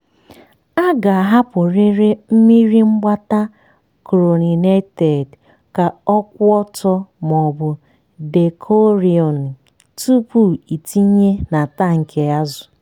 a ga-ahapụrịrị mmiri mgbata chlorinated ka ọ kwụ ọtọ maọbụ dechlorin tupu ịtinye na tankị azụ.